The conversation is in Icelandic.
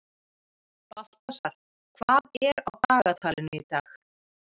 Baltasar, hvað er á dagatalinu í dag?